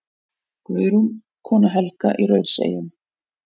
Guðrún, kona Helga í Rauðseyjum.